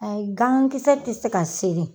Ayi gan kisɛ tɛ se ka seri.